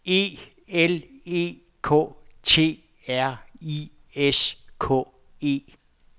E L E K T R I S K E